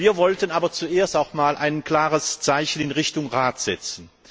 Wir wollten aber zuerst auch einmal ein klares Zeichen in Richtung Rat setzen.